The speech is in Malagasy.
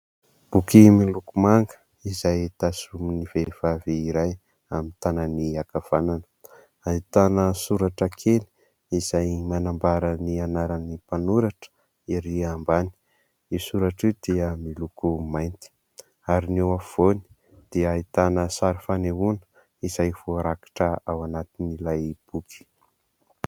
Boky miloko manga izay tazomin'ny vehivavy iray amin'ny tanany ankavanana. Ahitana soratra kely izay manambara ny anaran'ny mpanoratra erỳ ambany. Io soratra io dia miloko mainty ary ny eo afovoany dia ahitana sary fanehoana izay voarakitra ao anatin'ilay boky.